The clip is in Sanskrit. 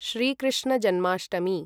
श्रीकृष्णजन्माष्टमी